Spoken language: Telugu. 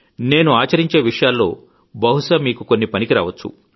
నేను ఆచరించే విషయాల్లో బహుశా కొన్ని మీకు పనికి రావచ్చు